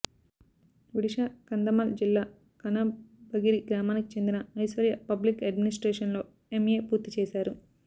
ఒడిషా కంధమాల్ జిల్లా కనబగిరి గ్రామానికి చెందిన ఐశ్వర్య పబ్లిక్ అడ్మినిస్ట్రేషన్లో ఎమ్ఏ పూర్తి చేశారు